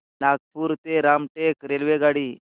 नागपूर ते रामटेक रेल्वेगाडी